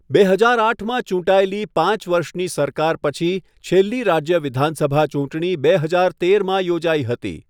બે હજાર આઠમાં ચૂંટાયેલી પાંચ વર્ષની સરકાર પછી છેલ્લી રાજ્ય વિધાનસભા ચૂંટણી બે હાજર તેરમાં યોજાઈ હતી.